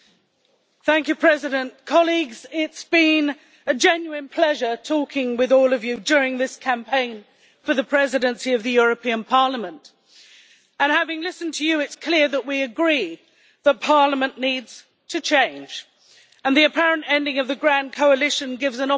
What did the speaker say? Mr President, colleagues, it has been a genuine pleasure talking with all of you during this campaign for the Presidency of the European Parliament, and having listened to you, it is clear that we agree that Parliament needs to change, and the apparent ending of the grand coalition gives an opportunity